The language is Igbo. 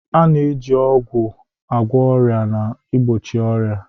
A na-eji ọgwụ agwọ ọrịa na igbochi ọrịa.